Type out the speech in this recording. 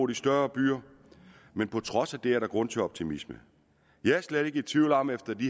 de større byer men på trods af det er der grund til optimisme jeg er slet ikke i tvivl om efter det